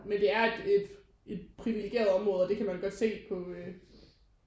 Men det er et et et privilegeret område og det kan man godt se på